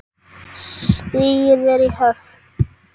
Stigið er í höfn!